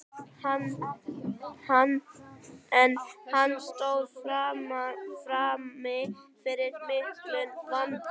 En hann stóð frammi fyrir miklum vanda.